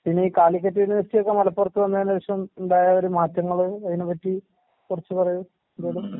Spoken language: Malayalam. പിന്നെയീ കാലിക്കറ്റ് യൂണിവേഴ്സിറ്റിയൊക്കെ മലപ്പുറത്ത് വന്നേനേഷം ഇണ്ടായ ഒരു മാറ്റങ്ങള് അയിനെപ്പറ്റി കൊറച്ച് പറയൂ എന്തേലും.